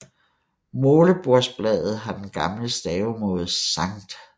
Målebordsbladet har den gamle stavemåde Sct